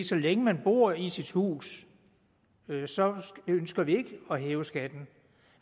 så længe man bor i sit hus så ønsker vi ikke at hæve skatten